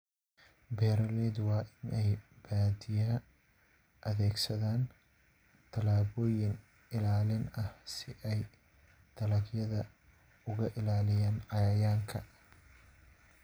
Beeraleydu waa in ay badiyaa adeegsadaan tallaabooyin ilaalin ah si ay dalagyada uga ilaaliyaan cayayaanka.